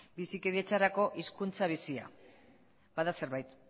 bizikidetzarako hizkuntza bizia bada zerbait